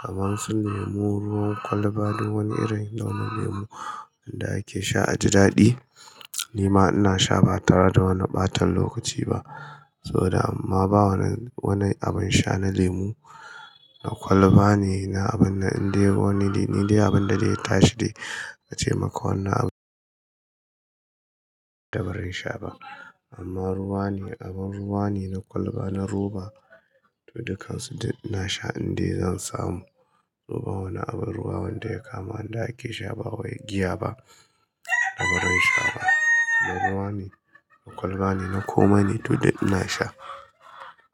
Kaman sun nemo ruwan kwalba duk wani irin launin lemu wanda ake sha a ji daɗi, ni ma ina sha ba tara da wani ɓatan lokaci ba. Saboda amma ba wani, wani abin sha na lemu, na kwalba ne, na abin da indai wani, ni dai abin da zai tashi dai ace maka wannan abin da ba zan sha ba. Amma ruwa ne, abin ruwa ne, na kwalba, na roba, dukan su ina sha indai zan samu. To ba wani abin ruwa wanda ya kama inda ake sha ba wai giya ba da ba zan sha ba. Na ruwa ne, na kwalba ne, na koma ne duk ina sha.